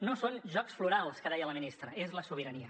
no són jocs florals que deia la ministra és la sobirania